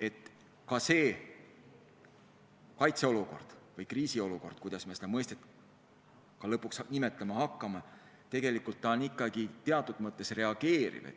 et kaitseolukord või kriisiolukord – kuidas me seda lõpuks nimetama ka ei hakka – on tegelikult ikkagi teatud mõttes reageerimine.